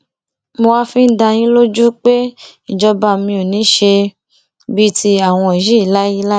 mo wáá fi ń dá dá yín lójú pé ìjọba mi ò ní í ṣe bíi tiwọn yìí láéláé